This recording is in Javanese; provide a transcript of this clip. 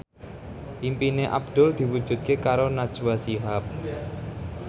impine Abdul diwujudke karo Najwa Shihab